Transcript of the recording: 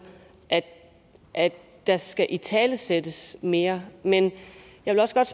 at der skal italesættes mere men jeg vil også godt